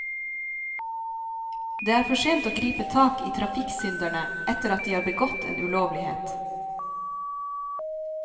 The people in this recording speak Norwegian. Det er for sent å gripe tak i trafikksynderne etter at de har begått en ulovlighet.